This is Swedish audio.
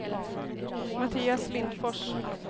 Mattias Lindfors